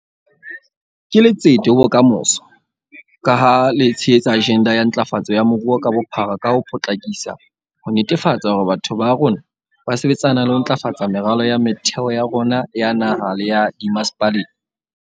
Ke letsete ho bokamoso, ka ha le tshehetsa ajenda ya ntlafatso ya moruo ka bophara ka ho potlakisa ho netefatsa hore batho ba rona ba sebetsana le ho ntlafatsa meralo ya motheo ya rona ya naha le ya dimmasepaleng.